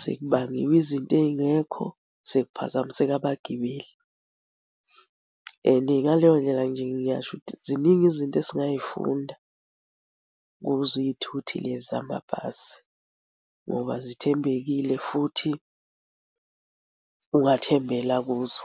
sekubangiwa izinto ey'ngekho sekuphazamiseka abagibeli and ngaleyo ndlela nje ngiyasho ukuthi ziningi izinto esingay'funda kuzo iy'thuthi lezi zamabhasi ngoba zithembekile futhi ungathembela kuzo.